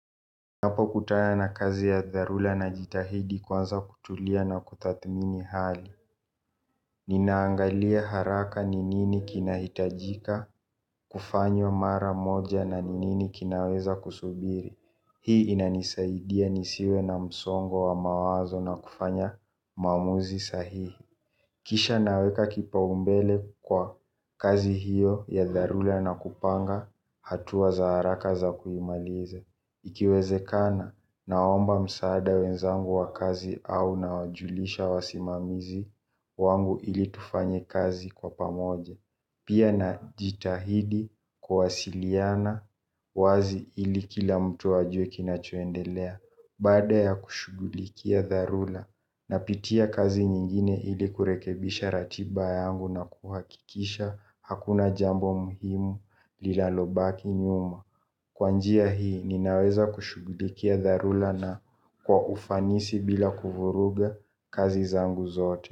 Napo kutaya na kazi ya dharula na jitahidi kwanza kutulia na kutathmini hali. Ninaangalia haraka ni nini kinahitajika, kufanywa mara moja na ni nini kinaweza kusubiri. Hii inanisaidia nisiwe na msongo wa mawazo na kufanya maamuzi sahihi. Kisha naweka kipa umbele kwa kazi hiyo ya dharula na kupanga hatua za haraka za kuimaliza. Ikiwezekana naomba msaada wenzangu wa kazi au na wajulisha wa simamizi wangu ili tufanye kazi kwa pamoja. Pia na jitahidi kuwasiliana wazi ili kila mtu ajue kinachoendelea. Bada ya kushugulikia dharula na pitia kazi nyingine ili kurekebisha ratiba yangu na kuhakikisha hakuna jambo muhimu lilalobaki nyuma. Kwa njia hii ninaweza kushugulikia dharula na kwa ufanisi bila kuvuruga kazi zangu zote.